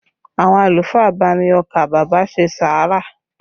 Àwọn àlùfáà bá mi ọkà bàbà ṣe sàárà